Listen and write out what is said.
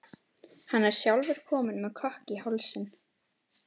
Hann er sjálfur kominn með kökk í hálsinn.